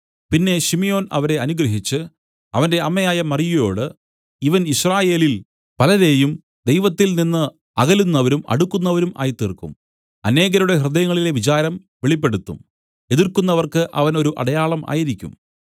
പിന്നെ ശിമ്യോൻ അവരെ അനുഗ്രഹിച്ച് അവന്റെ അമ്മയായ മറിയയോടു ഇവൻ യിസ്രായേലിൽ പലരേയും ദൈവത്തിൽ നിന്നു അകലുന്നവരും അടുക്കുന്നവരും ആക്കിത്തീർക്കും അനേകരുടെ ഹൃദയങ്ങളിലെ വിചാരം വെളിപ്പെടുത്തും എതിർക്കുന്നവർക്ക് അവൻ ഒരു അടയാളം ആയിരിക്കും